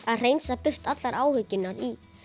að hreinsa burt allar alvöru áhyggjurnar í